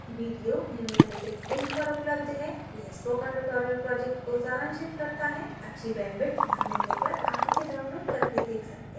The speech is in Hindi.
video निम्नलिखित link पर उपलब्ध है यह spoken tutorial project को सारांशित करता है अच्छी bandwidth न मिलने पर आप इसे download करके देख सकते हैं